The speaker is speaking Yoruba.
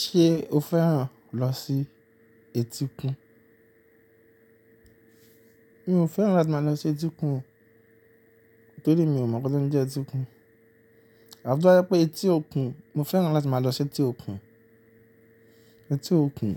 Ṣé o fẹ́ràn lọ sí etíkun? Mi ò fẹ́ràn láti máa lọ sí etíkun, nítorí mi ò mọ̀ bótí ń jẹ́ etíkun. Àmọ́n tó bá jẹ́ wípé etí òkun, mo fẹ́ràn láti máa lọ sí etí òkun, etí òkun.